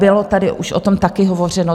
Bylo tady už o tom také hovořeno.